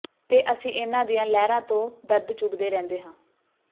ਤੇ ਅਸੀਂ ਇਹਨਾਂ ਦੀਆਂ ਲਹਿਰਾਂ ਤੋਂ ਦਰਦ ਚੁਗਦੇ ਰਹਿੰਦੇ ਹਾਂ